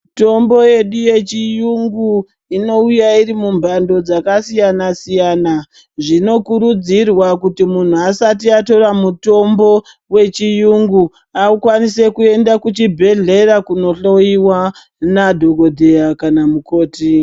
Mitombo yedu yechiyungu inouya irimumhando dzakasiyana-siyana. Zvinokurudzirwa kuti muntu asati atora mutombo wechiyungu akwanise kuenda kuchibhedhlera kunohloyiwa nadhogodheya kana mukoti.